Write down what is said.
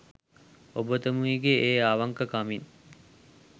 ඔබතුමීගේ ඒ අවංක කමින්